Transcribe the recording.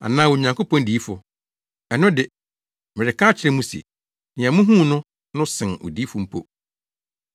Anaa Onyankopɔn diyifo? Ɛno de, mereka akyerɛ mo se, nea muhuu no no sen odiyifo mpo.